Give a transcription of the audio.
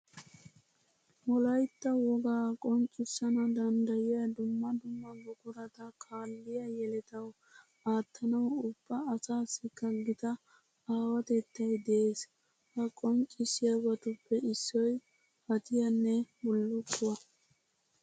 Wolaytta wogaa qonccissana danddayiya dumma dumma buqurata kaalliya yeletawu aattanawu ubba asaassikka gita aawatettay de'ees. Ha qonccissiyabatuppe issoy hadiyanne bullukkuwa.